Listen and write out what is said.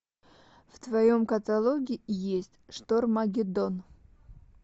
в твоем каталоге есть штормагеддон